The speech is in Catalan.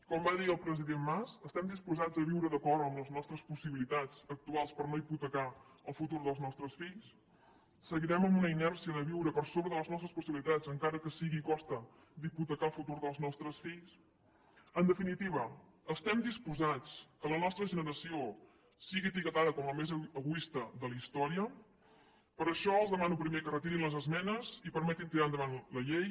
com va dir el president mas estem disposats a viure d’acord amb les nostres possibilitats actuals per no hipotecar el futur dels nostres fills seguirem amb una inèrcia de viure per sobre de les nostres possibilitats encara que sigui a costa d’hipotecar el futur dels nostres fills en definitiva estem disposats que la nostra generació sigui etiquetada com la més egoista de la història per això els demano primer que retirin les esmenes i permetin tirar endavant la llei